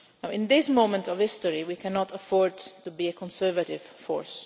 In this moment of history we cannot afford to be a conservative force.